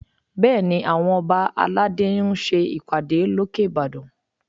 Bẹ́ẹ̀ni, àwọn ọba aládé ń ṣe ìpàdé lókè Ìbàdàn